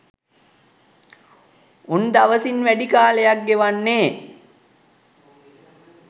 උන් දවසින් වැඩි කාලයක් ගෙවන්නේ